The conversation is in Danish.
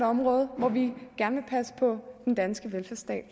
område hvor vi gerne vil passe på den danske velfærdsstat